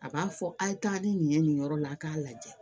A b'a fɔ a' ye taa ni nin ye nin yɔrɔ la a k'a lajɛ